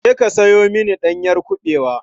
Je ka sayo mini ɗanyar kuɓewa.